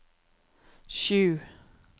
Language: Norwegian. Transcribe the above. sju